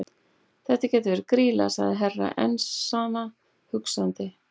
Þetta gæti verið Grýla, sagði Herra Enzana hugsandi.